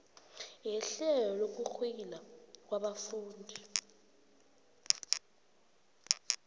yehlelo lokurweyila ngabafundi